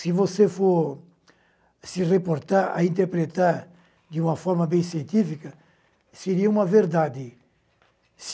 Se você for se reportar, a interpretar de uma forma bem científica, seria uma verdade.